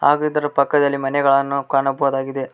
ಹಾಗೂ ಇದರ ಪಕ್ಕದಲ್ಲಿ ಮನೆಗಳನ್ನು ಕಾಣಬಹುದಾಗಿದೆ.